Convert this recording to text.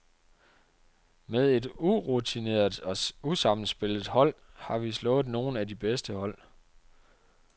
Med et urutineret og usammenspillet hold har vi slået nogle af de bedste hold.